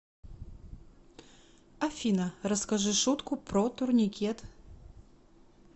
афина расскажи шутку про турникет